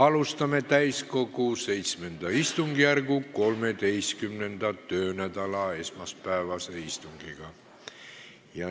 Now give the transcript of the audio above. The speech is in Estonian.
Alustame täiskogu VII istungjärgu 13. töönädala esmaspäevast istungit.